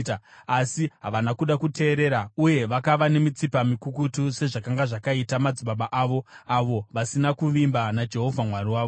Asi havana kuda kuteerera uye vakava nemitsipa mikukutu sezvakanga zvakaita madzibaba avo, avo vasina kuvimba naJehovha Mwari wavo.